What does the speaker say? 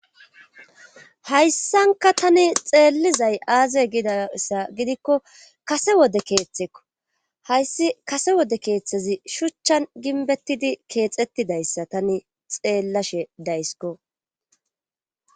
Hayssankka taani xeellizay aaze gizayssa gidikko kase wode keetheko hayyssi kase wode keethazi shuuchan gimbbettidi keexettidayssa tani xeelllashe dayskko.